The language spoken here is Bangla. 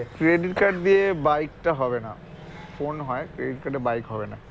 credit card দিয়ে bike টা হবে না phone হয় credit card এ bike হবে না